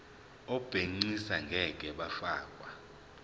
abegcis ngeke bafakwa